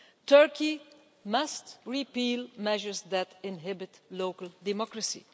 Turkey must repeal measures that inhibit local democracy.